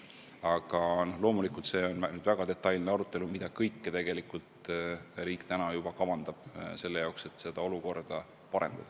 Aga loomulikult, see on väga detailne arutelu, mida kõike tegelikult riik juba kavandab selle jaoks, et seda olukorda parandada.